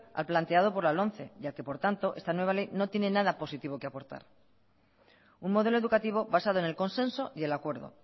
al planteado por la lomce ya que por tanto esta nueva ley no tiene nada positivo que aportar un modelo educativo basado en el consenso y el acuerdo